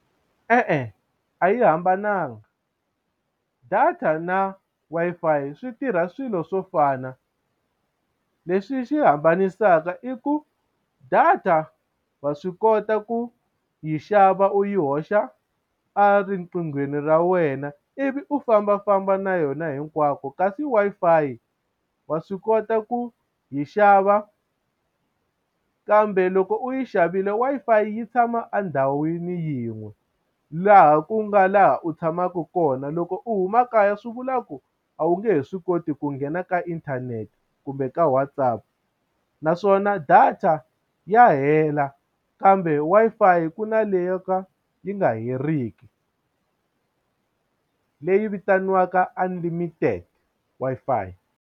E-e a yi hambananga data na Wi-Fi swi tirha swilo swo fana leswi xi hambanisaka i ku data wa swi kota ku yi xava u yi hoxa eriqinghweni ra wena ivi u fambafamba na yona hinkwako kasi Wi-Fi wa swi kota ku yi xava kambe loko u yi xavile Wi-Fi yi tshama endhawini yin'we laha ku nga laha u tshamaka kona loko u huma kaya swi vula ku a wu nge he swi koti ku nghena ka inthanete kumbe ka WhatsApp naswona data ya u hela kambe Wi-Fi ku na leyi yo ka yi nga heriki leyi vitaniwaka unlimited Wi-Fi.